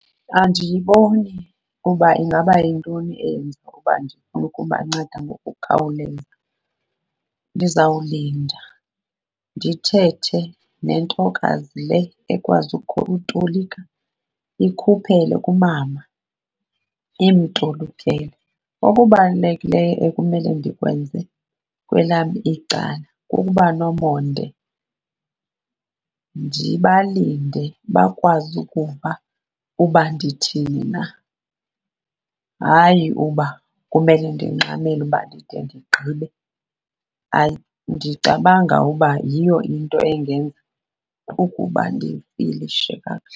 Andiyiboni ukuba ingaba yintoni eyenza uba ndifune ukubanceda ngokukhawuleza. Ndizawulinda ndithethe nentokazi le ekwazi utolika ikhuphele kumama imtolikele. Okubalulekileyo ekumele ndikwenze kwelam icala kukuba nomonde ndibalinde bakwazi ukuva uba ndithini na, hayi uba kumele ndingxamele uba ndide ndigqibe. Hayi, ndicabanga uba yiyo into engenza ukuba ndifilishe kakuhle.